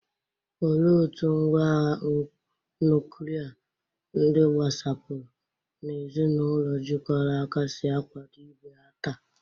Olee otú ngwá agha nuklia, ndị gbasapụrụ, na ezinụlọ jikọrọ aka si akwado ibe ha taa?